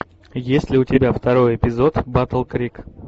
есть ли у тебя второй эпизод батл крик